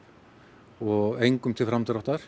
og hún engum til framdráttar